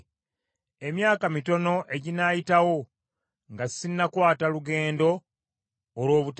“Emyaka mitono eginaayitawo nga sinnakwata lugendo olw’obutadda.”